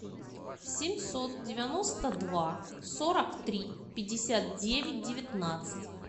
семьсот девяносто два сорок три пятьдесят девять девятнадцать